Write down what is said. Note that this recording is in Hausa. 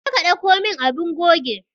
Je ka dauko min abun goge.